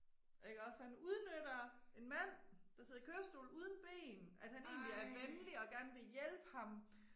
Ikke også han udnytter en mand der sidder i kørestol uden ben, at han egentlig er venlig og gerne vil hjælpe ham